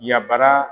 Yabara